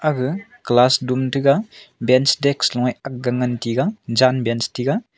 aga class doom tega bench desk loe akga ngan tega jan bench tega.